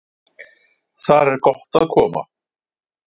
Þar er gott að koma.